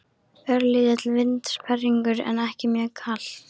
Örlítill vindsperringur en ekki mjög kalt.